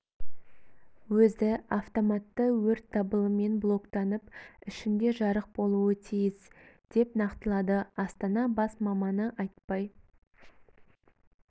өзі автоматты өрт дабылымен блоктанып ішінде жарық болуы тиіс деп нақтылады астана бас маманы айтбай